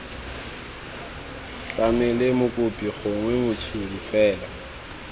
tlamele mokopi gongwe motshodi fela